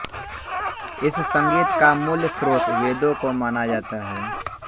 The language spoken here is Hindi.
इस संगीत का मूल स्रोत वेदों को माना जाता है